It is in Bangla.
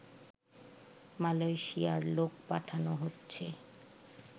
মালয়েশিয়ায় লোক পাঠানো হচ্ছে